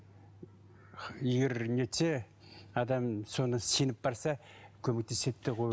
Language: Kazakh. егер не етсе адам соны сеніп барса көмектеседі деп